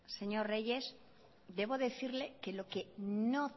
señor reyes debo decirle que lo que no